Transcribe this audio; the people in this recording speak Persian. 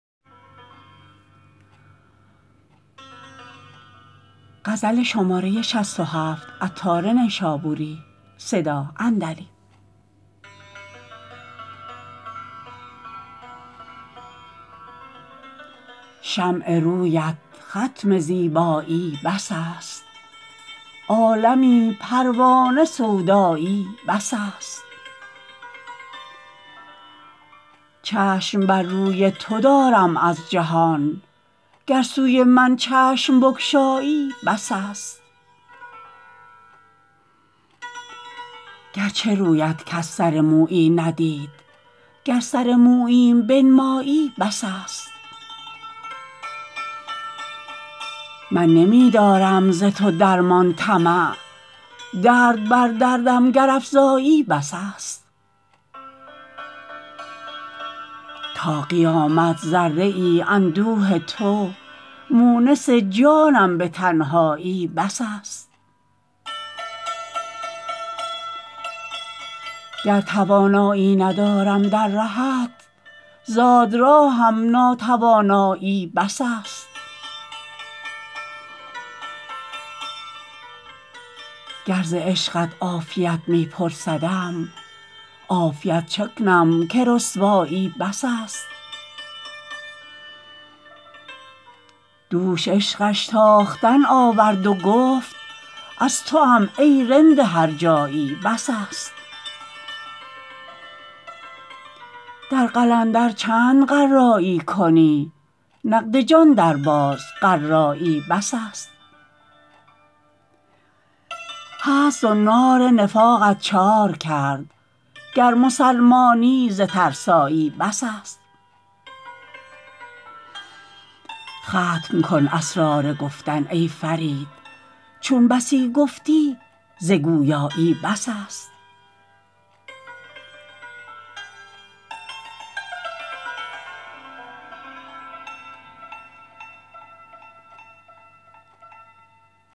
شمع رویت ختم زیبایی بس است عالمی پروانه سودایی بس است چشم بر روی تو دارم از جهان گر سوی من چشم بگشایی بس است گرچه رویت کس سر مویی ندید گر سر موییم بنمایی بس است من نمی دارم ز تو درمان طمع درد بر دردم گر افزایی بس است تا قیامت ذره ای اندوه تو مونس جانم به تنهایی بس است گر توانایی ندارم در رهت زاد راهم ناتوانایی بس است گر ز عشقت عافیت می پرسدم عافیت چه کنم که رسوایی بس است دوش عشقش تاختن آورد و گفت از توام ای رند هرجایی بس است در قلندر چند قرایی کنی نقد جان درباز قرایی بس است هست زنار نفاقت چارکرد گر مسلمانی ز ترسایی بس است ختم کن اسرار گفتن ای فرید چون بسی گفتی ز گویایی بس است